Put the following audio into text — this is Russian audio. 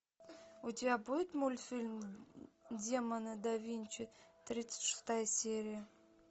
у тебя будет мультфильм демоны да винчи тридцать шестая серия